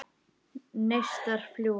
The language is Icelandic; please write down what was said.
Neistar fljúga.